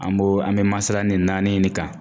An b'o an bɛ masala nin naani in ne kan.